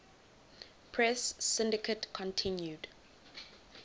press syndicate continued